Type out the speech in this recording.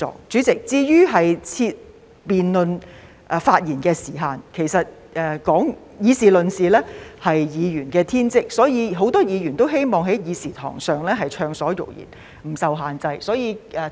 主席，至於設下辯論發言的時限，其實議事論事是議員的天職，所以很多議員都希望在議事堂上暢所欲言，不受限制。